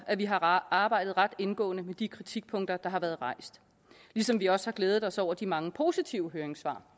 at vi har arbejdet ret indgående med de kritikpunkter der har været rejst ligesom vi også har glædet os over de mange positive høringssvar